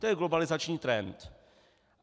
To je globalizační trend.